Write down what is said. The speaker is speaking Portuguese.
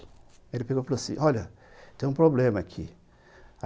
Aí ele pegou e falou assim, olha, tem um problema aqui.